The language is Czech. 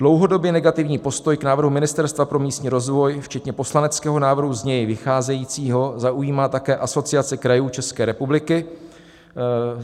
Dlouhodobě negativní postoj k návrhu Ministerstva pro místní rozvoj včetně poslaneckého návrhu z něj vycházejícího zaujímá také Asociace krajů České republiky.